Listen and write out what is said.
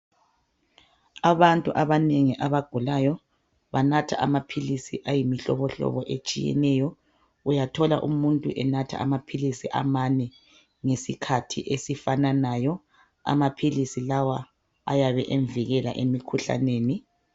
Abantu abanengi abagulayo banatha amaphilisi ayimihlobohlobo etshiyeneyo uyathola umuntu enatha amaphilisi amane ngesikhathi esifananayo amaphilisi lawa ayabe emvikela emikhuhlaneni